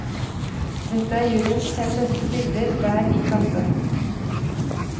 Dette er juryens fem beste bilder hver i klasse.